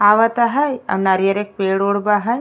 आवता बा है और नरियर के पेड़ उड़ बा है।